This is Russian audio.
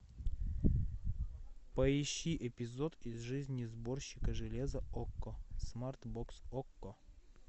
поищи эпизод из жизни сборщика железа окко смарт бокс окко